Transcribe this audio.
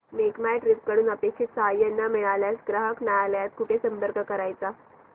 make My Trip कडून अपेक्षित सहाय्य न मिळाल्यास ग्राहक न्यायालयास कुठे संपर्क करायचा